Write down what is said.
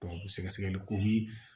sɛgɛsɛgɛliko ni